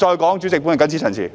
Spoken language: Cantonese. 代理主席，我謹此陳辭。